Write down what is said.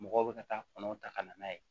Mɔgɔw bɛ ka taa kɔnɔw ta ka na n'a ye